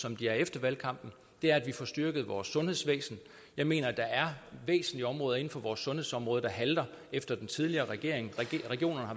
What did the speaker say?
som de er efter valgkampen er at vi får styrket vores sundhedsvæsen jeg mener der er væsentlige områder inden for vores sundhedsområde der halter efter den tidligere regering regionerne har